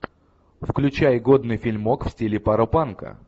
включай годный фильмок в стиле паропанка